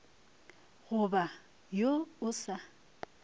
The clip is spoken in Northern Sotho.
go ba wo o sa